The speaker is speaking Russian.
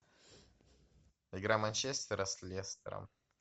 игра манчестера с лестером